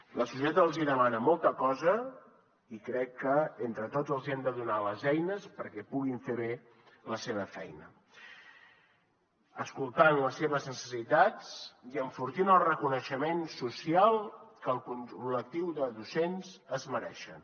la societat els hi demana molta cosa i crec que entre tots els hi hem de donar les eines perquè puguin fer bé la seva feina escoltant les seves necessitats i enfortint el reconeixement social que el col·lectiu de docents es mereixen